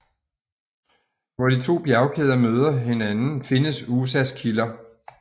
Hvor de to bjergkæder møder hinanden findes Usas kilder